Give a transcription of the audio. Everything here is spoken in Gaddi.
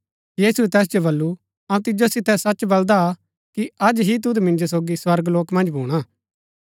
यीशुऐ तैस जो बल्लू अऊँ तिजो सितै सच बलदा कि अज ही तुद मिन्जो सोगी स्वर्गलोक मन्ज भूणा